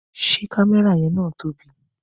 Ṣé kámẹ́rà yan na tóbi?